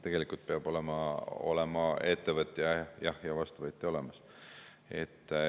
Tegelikult peab olema ettevõtja ja vastuvõtja olemas.